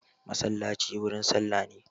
Masallaci wurin sallah ne.